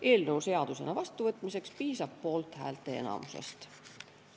Eelnõu seadusena vastuvõtmiseks piisab poolthäälteenamusest.